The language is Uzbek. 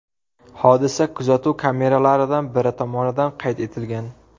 Hodisa kuzatuv kameralaridan biri tomonidan qayd etilgan.